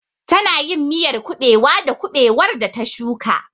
Tana yin miyar kuɓewa da kuɓewar da ta shuka.